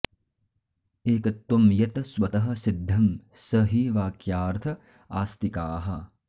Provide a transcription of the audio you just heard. एकत्वं यत् स्वतः सिद्धं स हि वाक्यार्थ आस्तिकाः